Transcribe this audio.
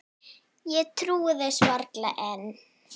Ég trúi þessu varla enn.